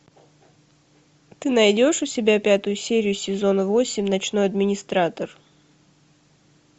ты найдешь у себя пятую серию сезона восемь ночной администратор